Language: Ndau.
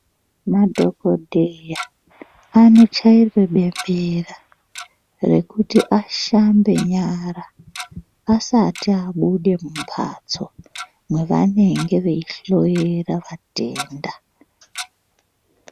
Madhokodheya anochaire bembera rekuti ashande nyara asati abude mumbatso mwevanenge veihloyera vatenda.